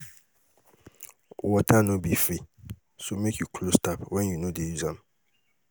Water no be free, so make you close tap when you no dey use am.